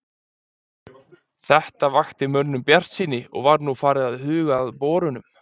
Þetta vakti mönnum bjartsýni, og var nú farið að huga að borunum.